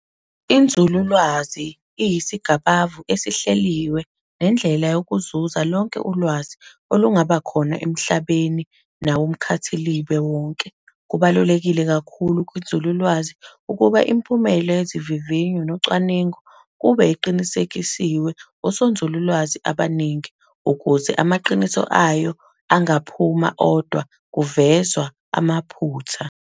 Inzululwazi iyisigabavu esihleliwe nendlela yokuzuza lonke ulwazi olungaba khona emhlabeni nakumkhathilibe wonke. Kubalulekile kakhulu kwinzululwazi ukuba imiphumela yezivivinyo nocwaningo kube eqinisekiswe osonzululwazi abaningi ukuze amaqiniso ayo angaphuma odwa kuvezwa amaphutha.